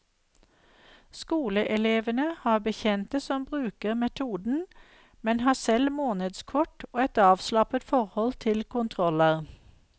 Skoleelevene har bekjente som bruker metoden, men har selv månedskort og et avslappet forhold til kontroller.